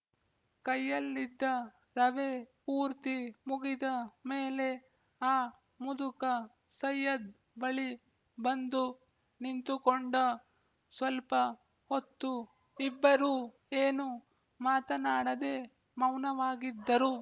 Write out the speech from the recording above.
ಕೈಯಲ್ಲಿದ್ದ ರವೆ ಪೂರ್ತಿ ಮುಗಿದ ಮೇಲೆ ಆ ಮುದುಕ ಸೈಯದ್ ಬಳಿ ಬಂದು ನಿಂತುಕೊಂಡ ಸ್ವಲ್ಪ ಹೊತ್ತು ಇಬ್ಬರೂ ಏನೂ ಮಾತನಾಡದೆ ಮೌನವಾಗಿದ್ದರು